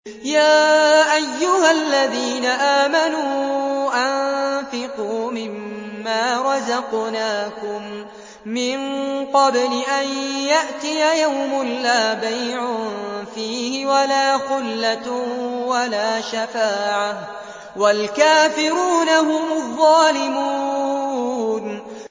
يَا أَيُّهَا الَّذِينَ آمَنُوا أَنفِقُوا مِمَّا رَزَقْنَاكُم مِّن قَبْلِ أَن يَأْتِيَ يَوْمٌ لَّا بَيْعٌ فِيهِ وَلَا خُلَّةٌ وَلَا شَفَاعَةٌ ۗ وَالْكَافِرُونَ هُمُ الظَّالِمُونَ